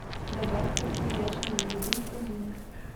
добавь крупу ячневую рубин в корзину